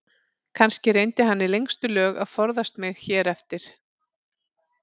Kannski reyndi hann í lengstu lög að forðast mig hér eftir.